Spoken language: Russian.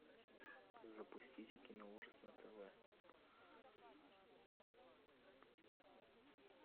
запустите киноужас на тв